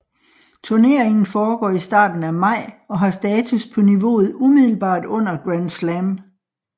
Turneringen foregår i starten af maj og har status på niveauet umiddelbart under Grand Slam